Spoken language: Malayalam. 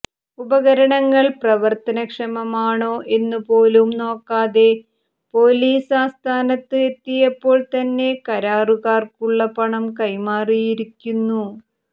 ഉപകരണങ്ങൾ പ്രവർത്തനക്ഷമമാണോ എന്നു പോലും നോക്കാതെ പൊലീസ് ആസ്ഥാനത്ത് എത്തിയപ്പോൾ തന്നെ കരാറുകാർക്കുള്ള പണം കൈമാറിയിരിക്കുന്നു